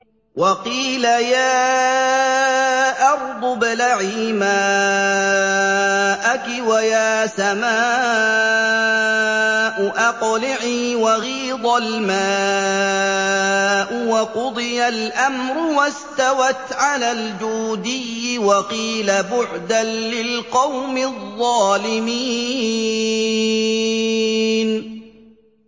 وَقِيلَ يَا أَرْضُ ابْلَعِي مَاءَكِ وَيَا سَمَاءُ أَقْلِعِي وَغِيضَ الْمَاءُ وَقُضِيَ الْأَمْرُ وَاسْتَوَتْ عَلَى الْجُودِيِّ ۖ وَقِيلَ بُعْدًا لِّلْقَوْمِ الظَّالِمِينَ